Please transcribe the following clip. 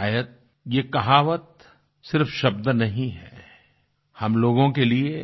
शायद ये कहावत सिर्फ शब्द नहीं हैं हम लोगों के लिए